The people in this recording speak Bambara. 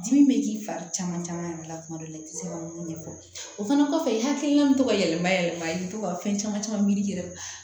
Dimi bɛ k'i fari caman caman yɛrɛ la kuma dɔ la i tɛ se ka mun ɲɛfɔ o fana kɔfɛ i hakilina bɛ to ka yɛlɛma yɛlɛma i bɛ to ka fɛn caman caman miri i yɛrɛ la